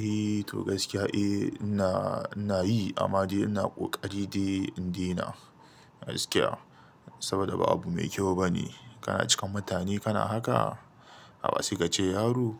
Eh to gaskiya eh ina nayi amma ina ƙari dai in dena gaskiya saboda babu mai kyau bane kana cikin mutane kana haka haba se ka ce yaro